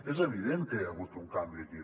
és evident que hi ha hagut un canvi aquí